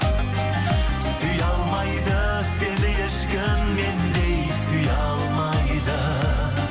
сүйе алмайды сені ешкім мендей сүйе алмайды